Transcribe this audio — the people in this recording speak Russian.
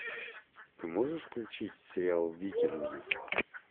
ты можешь включить сериал викинги